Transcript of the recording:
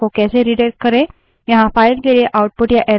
यहाँ file के लिए output या error को redirect करने के दो मार्ग हैं